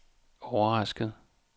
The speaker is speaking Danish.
overrasket